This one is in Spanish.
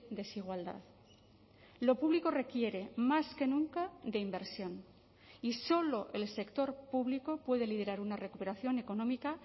desigualdad lo público requiere más que nunca de inversión y solo el sector público puede liderar una recuperación económica